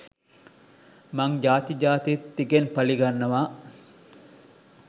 මං ජාති ජාතිත් තිගෙන් පළිගන්නවා.